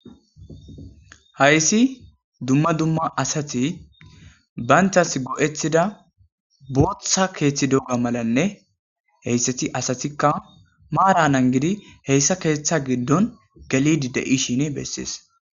hayssi dumma dumma asati banchas go7etida booththa keeththi dogga malanne heyssati asatikka maara nan gidi heyssa keeththa giddon galidi de7ishin bessees